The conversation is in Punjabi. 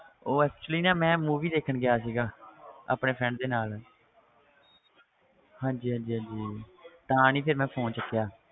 ਉਹ actually ਨਾ ਮੈਂ movie ਦੇਖਣ ਗਿਆ ਸੀਗਾ ਆਪਣੇ friend ਦੇ ਨਾਲ ਹਾਂਜੀ ਹਾਂਜੀ ਹਾਂਜੀ ਤਾਂ ਨੀ ਫਿਰ ਮੈਂ phone ਚੁੱਕਿਆ।